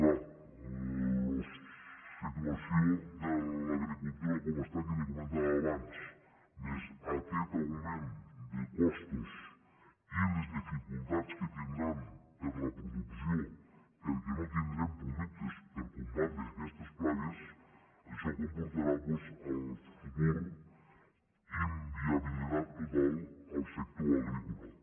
clar la situ·ació de l’agricultura com està que li comentava abans més aquest augment de costos i les dificultats que tin·dran per a la producció perquè no tindrem productes per combatre aquestes plagues això comportarà en el futur inviabilitat total al sector agrícola